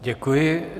Děkuji.